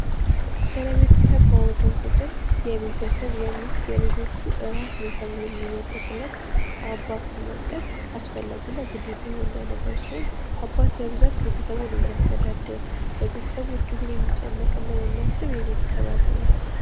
ስለቤተሰብ ባወራ እንቁጥር የቤተሰብ የሚስት የልጆቹ ራስ ነው ተብሎ የሚወደስለት አባትን መጥቀስ አስፈላጊ እና ግዴታ የሆነ ነገር ሲሆን በብዛት ቤተሰቦቹን የሚያስተዳድር ለቤተሰቡ እጅጉን የሚጨነቅና የሚያስብ የቤተሰብ አባል ነው።